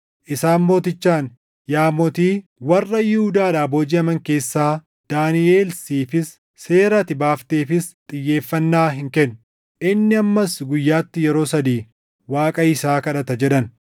Isaan mootichaan, “Yaa mootii, warra Yihuudaadhaa boojiʼaman keessaa Daaniʼel siifis seera ati baafteefis xiyyeeffannaa hin kennu. Inni ammas guyyaatti yeroo sadii Waaqa isaa kadhata” jedhan.